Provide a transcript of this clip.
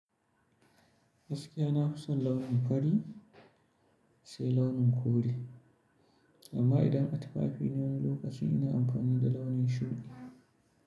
Gaskiya na fi son launin fari, sai launin kore. Amma idan a tufafi ne wani lokacin ina amfani da launin shuɗi.